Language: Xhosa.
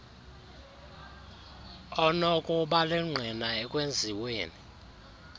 onokuba lingqina ekwenziweni